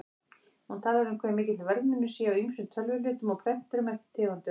Hún talar um hve mikill verðmunur sé á ýmsum tölvuhlutum og prenturum eftir tegundum.